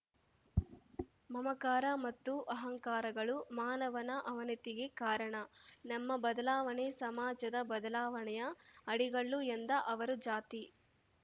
ಮಮಕಾರ ಮತ್ತು ಅಹಂಕಾರಗಳು ಮಾನವನ ಅವನತಿಗೆ ಕಾರಣ ನಮ್ಮ ಬದಲಾವಣೆ ಸಮಾಜದ ಬದಲಾವಣೆಯ ಅಡಿಗಲ್ಲು ಎಂದ ಅವರು ಜಾತಿ